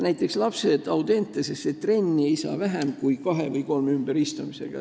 Näiteks lapsed Audentesesse trenni ei saa vähem kui kahe või kolme ümberistumisega.